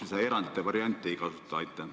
Miks me seda erandite võimalust ei kasuta?